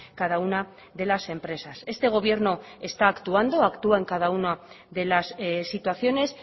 cada una de las empresas este gobierno está actuando actúa en cada una de las situaciones